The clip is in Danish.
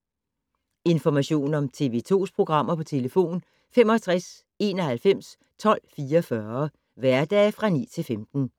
Information om TV 2's programmer: 65 91 12 44, hverdage 9-15.